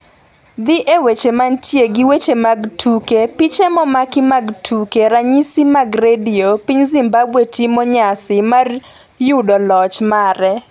Dhi e weche manitie gi weche mag tuke piche momaki mag Tuke Ranyisi mag Redio piny Zimbabwe timo nyasi mar yudo loch mare